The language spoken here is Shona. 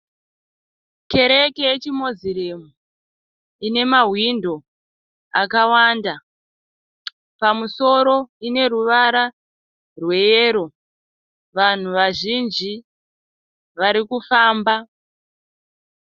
Kereke yechi(Muslim) ine mahwindo akawanda. Pamusoro ineruvara rweyero. Vanhu vazhinji varikufamba